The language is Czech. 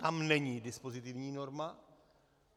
Tam není dispozitivní norma.